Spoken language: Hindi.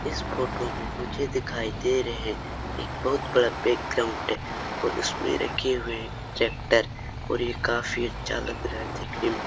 इस फोटो में मुझे दिखाई दे रहे हैं एक बहुत बड़ा बैकग्राउंड है और इसमें रखे हुए हैं ट्रेक्टर और ये काफी अच्छा लग रहा है देखने में।